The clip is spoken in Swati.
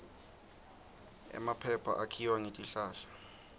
emaphepha akhiwa ngetihlahla